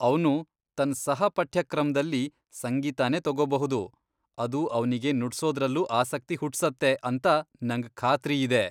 ಅವ್ನು ತನ್ ಸಹ ಪಠ್ಯಕ್ರಮ್ದಲ್ಲಿ ಸಂಗೀತನೇ ತಗೋಬಹುದು, ಅದು ಅವ್ನಿಗೆ ನುಡ್ಸೋದ್ರಲ್ಲೂ ಆಸಕ್ತಿ ಹುಟ್ಸತ್ತೆ ಅಂತ ನಂಗ್ ಖಾತ್ರಿಯಿದೆ.